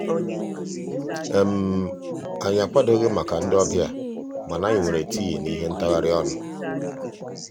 anyị akwadoghi maka ndị ọbịa mana anyị mere tii na ihe ntagharị ọnụ.